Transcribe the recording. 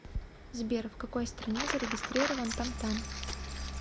сбер в какой стране зарегистрирован тамтам